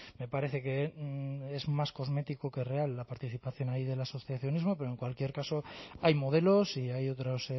me parece que es más cosmético que real la participación ahí del asociacionismo pero en cualquier caso hay modelos y hay otros